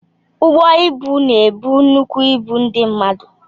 Ụgbọ ịbụ na ebu nnukwu ịbụ ndị mmadụ.